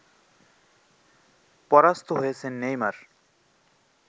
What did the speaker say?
পরাস্ত হয়েছেন নেইমার